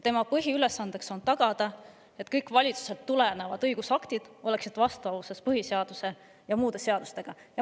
Tema põhiülesanne on tagada, et kõik valitsusest tulevad õigusaktid oleksid vastavuses põhiseaduse ja muude seadustega.